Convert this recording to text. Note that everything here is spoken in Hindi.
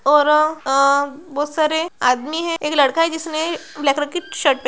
और आ बहोत सारे आदमी हैं एक लड़का है जिसने ब्लैक कलर की शर्ट पह---